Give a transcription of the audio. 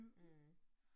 Mh